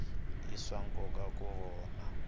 i swa nkoka ku vona